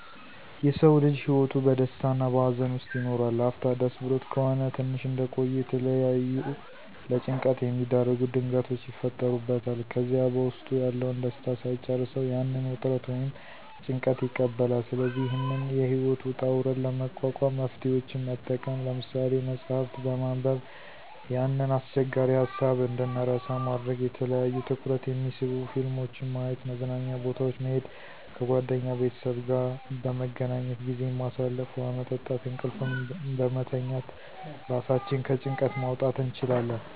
የሰዉ ልጅ ህይወቱ በደስታ እና በሀዘን ዉስጥ ይኖራል, ላፍታ ደስ ብሎት ከሆነ ትንሽ እንደቆዩ የተለያዩ ለጭንቀት የሚዳርጉ ድርጊቶች ይፈጠሩበታል ከዚያ በዉስጡ ያለዉን ደስታ ሳይጨርሰዉ ያንን ዉጥረት ወይም ጭንቀት ይቀበላል ስለዚህ ይህንን የህይወት ዉጣ ዉረድ ለመቋቋም መፍትሄወችን መጠቀም። ለምሳሌ፦ መፅሐፍት በማንበብ ያንን አስቸጋሪ ሀሳብ እንድንረሳ ማድረግ፣ የተለያዩ ትኩረት የሚስቡ ፊልሞችን ማየት፣ መዝናኛ ቦታወች መሄድ፣ ከጓደኛ ቤተሰብ ጋአ በመገናኘት ጊዜን ማሳለፍ፣ ዉሀ መጠጣት፣ እንቅልፍን በመተኛት ራሳችንን ከጭንቀት ማዉጣት እንችላለን።